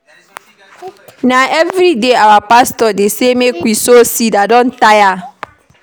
Na everyday our pastor dey say make we sow seed, I don tire.